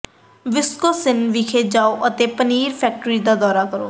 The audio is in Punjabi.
ਵਿਸਕੋਨਸਿਨ ਵਿਖੇ ਜਾਓ ਅਤੇ ਪਨੀਰ ਫੈਕਟਰੀ ਦਾ ਦੌਰਾ ਕਰੋ